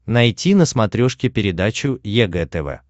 найти на смотрешке передачу егэ тв